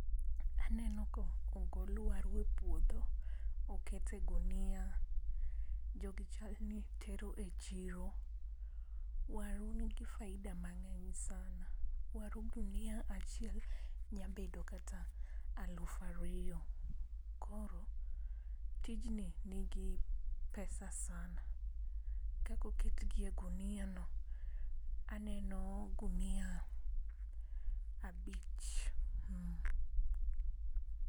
Aneno ko ogol waru e puodho oket e gunia, jogi chalni tero e chiro, waru nigi faida mang'eny sana. Waru gunia achiel nyabedo kata alafariyo. Koro tijni nigi pesa sana, kakoketgi e gunia no, aneno gunia abich.